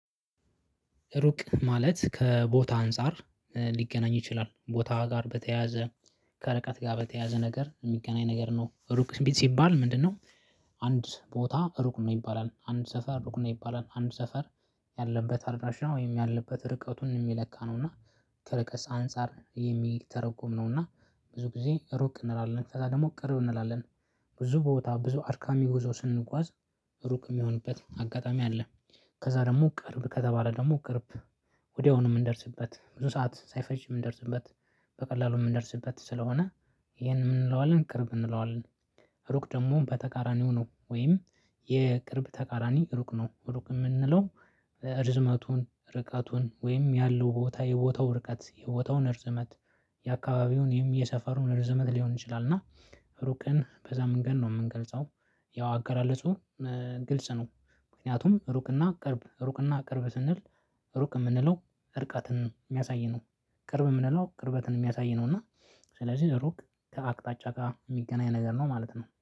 ሩቅ ማለት ከቦታ አንፃር ኧ ሊገናኝ ይችላል። ቦታ ጋር በተያያዘ፣ ከረቀት ጋር በተያያዘ ነገር እሚገናኝ ነገር ነው። ሩቅ ስ ቢት ሲባል ምንድነው አንድ ቦታ ሩቅ ነው ይባላል። አንድ ሰፈር ሩቅ ነው ይባላል። አንድ ሰፈር ያለበት አድራሻ ወይም ያለበት ርቀቱን እሚለካ ነው። እና ከርቀስ አንፃር የሚተረጎም ነው። እና ብዙ ጊዜ ሩቅ እንላለን። ከዛ ደሞ ቅርብ እንላለን። ብዙ ቦታ፣ ብዙ አድካሚ ጉዞ ስንጓዝ እሩቅ እሚሆንበት አጋጣሚ አለ። ከዛ ደግሞ ቅርብ ከተባለ ደሞ ቅርብ ወዲያውኑ ምንደርስበት። ብዙ ሰዓት ሳይፈጅ ምንደርስበት። በቀላሉ ምንደርስበት ስለሆነ ኢሄን ምን እለዋለን ቅርብ እንለዋለን። እሩቅ ደግሞ በተቃራኒው ነው። ወይም የቅርብ ተቃራኒ ሩቅ ነው። ሩቅ እምንለው እርዝመቱን፣ ርቀቱን፣ ወይም ያለው ቦታ፣ የቦታው ርቀት፣ የቦታውን እርዝመት፣ የአካባቢውንም የሰፈሩን እርዝመት ሊሆን ይችላል። እና ሩቅን በዛ መንገድ ነው ምንገልጸው። ያው አገላለጹ እ ግልጽ ነው። ምክንያቱም እሩቅና ቅርብ፣ እሩቅና ቅርብ ስንል ሩቅ እምንለው እርቀትን ሚያሳይ ነው። ቅርብ ምንለው ቅርበትን እሚያሳይ ነው። እና ስለዚህ ሩቅ ከአቅጣጫጋ እሚገናኝ ነገር ነው ማለት ነው።